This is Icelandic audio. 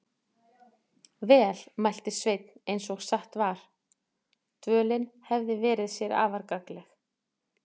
Vel, mælti Sveinn eins og satt var, dvölin hefði verið sér afar gagnleg.